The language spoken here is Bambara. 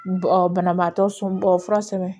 banabaatɔ somɔgɔ fura sɛbɛn